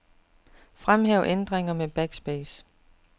Fremhæv ændringer med backspace.